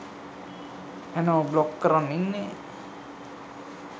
ඇනෝ බ්ලොක් කරන් ඉන්නෙ